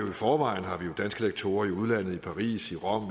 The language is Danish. i forvejen har vi jo danske lektorer i udlandet i paris i rom